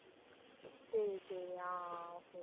சரி சரி ஆஹ் ஆஹ் okay